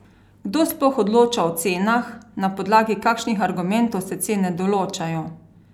Kdo sploh odloča o cenah, na podlagi kakšnih argumentov se cene določajo?